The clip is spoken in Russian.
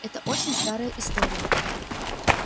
это очень старая история